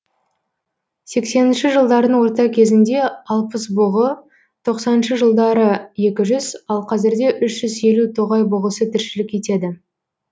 сексенінші жылдардың орта кезінде алпыс бұғы тоқсаныншы жылдары екі жүз ал қазірде үш жүз елу тоғай бұғысы тіршілік етеді